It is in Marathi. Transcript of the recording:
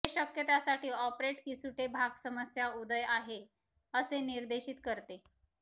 हे शक्य त्यासाठी ऑपरेट की सुटे भाग समस्या उदय आहे असे निर्देशीत करते